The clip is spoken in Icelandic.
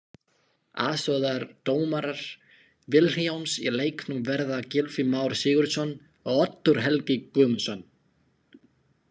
Aðstoðardómarar Vilhjálms í leiknum verða Gylfi Már Sigurðsson og Oddur Helgi Guðmundsson.